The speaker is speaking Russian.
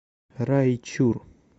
райчур